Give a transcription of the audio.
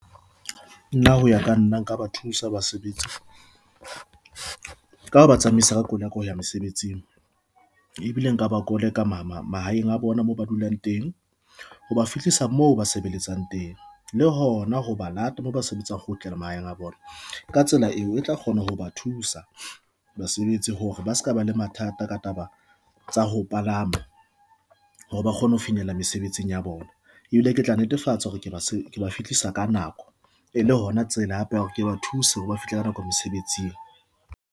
Nna hoya ka nna nka ba thusa basebetsi ka ho ba tsamaisa ka koloi ya ka ho ya mosebetsing ebile nka ba koleka mahaeng a bona moo ba dulang teng hoba fihlisa moo ba sebeletsang teng, le hona ho ba lata mo ba sebetsang kgutlela mahaeng a bona ka tsela eo, e tla kgona ho ba thusa basebetsi hore ba seka ba le mathata ka taba tsa ho palama hore ba kgone ho finyella mesebetsing ya bona ebile ke tla netefatsa hore ke ba fihlisa ka nako e le hona tsela hape hore ke ba thuse hore ba fihle ka nako mosebetsing.